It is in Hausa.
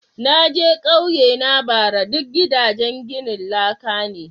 Na je kauyena bara ,duk gidajen ginin laka ne.